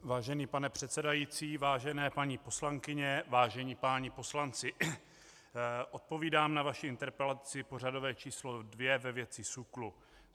Vážený pane předsedající, vážené paní poslankyně, vážení páni poslanci, odpovídám na vaši interpelaci pořadové číslo 2 ve věci SÚKL.